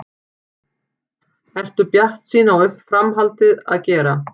Ertu bjartsýn uppá framhaldið að gera?